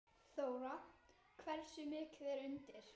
Þóra: Hversu mikið er undir?